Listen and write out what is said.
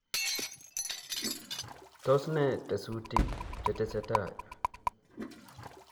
tos ne tesutiik chetesetai ?